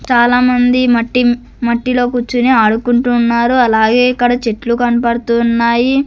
చాలామంది మట్టి మట్టిలో కూర్చుని ఆడుకుంటున్నారు అలాగే ఇక్కడ చెట్లు కనబడుతూ ఉన్నాయి.